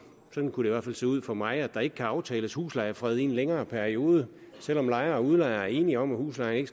sådan kunne det i hvert fald se ud for mig at der ikke kan aftales huslejefred i en længere periode selv om lejer og udlejer er enige om at huslejen